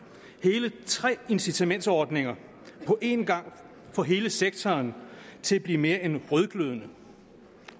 hele tre incitamentsordninger på en gang får hele sektoren til at blive mere end rødglødende